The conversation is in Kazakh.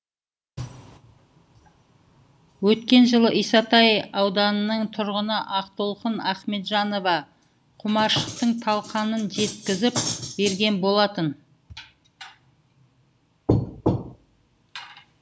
өткен жылы исатай ауданының тұрғыны ақтолқын ахметжанова құмаршықтың талқанын жеткізіп берген болатын